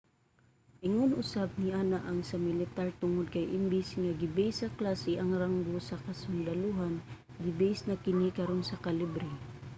ingon usab niana ang sa militar tungod kay imbis nga gibase sa klase ang ranggo sa kasundalohan gibase na kini karon sa kalibre